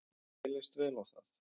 Mér leist vel á það.